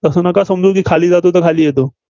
तसं नका समजू की खाली जातो तर खाली जातो.